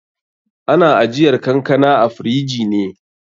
Ana ajiyar kankana a firiji ne.